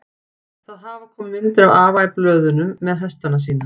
Það hafa komið myndir af afa í blöðunum með hestana sína.